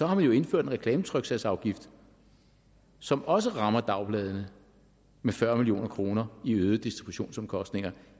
har man jo indført en reklametryksagsafgift som også rammer dagbladene med fyrre million kroner i øgede distributionsomkostninger